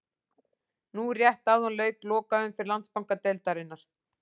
Nú rétt áðan lauk lokaumferð Landsbankadeildarinnar.